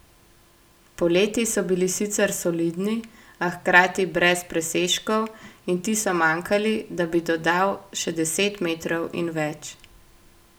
Poleti so bili sicer solidni, a hkrati brez presežkov in ti so manjkali, da bi dodal še deset metrov in več.